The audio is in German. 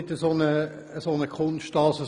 Diese Formulierung ist keine Kunst.